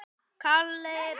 hóta að sparka